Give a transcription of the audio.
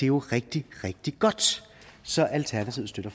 jo rigtig rigtig godt så alternativet støtter